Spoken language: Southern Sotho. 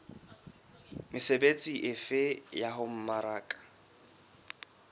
mesebetsi efe ya ho mmaraka